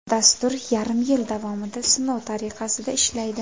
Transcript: Dastur yarim yil davomida sinov tariqasida ishlaydi.